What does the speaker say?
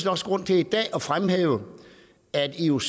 også grund til i dag at fremhæve at ioc